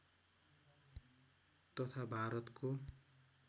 तथा भारतको